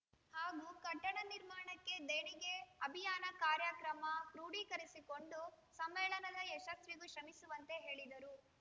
ಹಾಗೂ ಕಟ್ಟಡ ನಿರ್ಮಾಣಕ್ಕೆ ದೇಣಿಗೆ ಅಭಿಯಾನ ಕಾರ್ಯಕ್ರಮ ಕ್ರೋಡಿಕರಿಸಿಕೊಂಡು ಸಮ್ಮೇಳನದ ಯಶಸ್ವಿಗೂ ಶ್ರಮಿಸುವಂತೆ ಹೇಳಿದರು